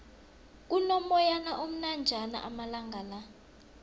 kuno moyana omnanjana amalangala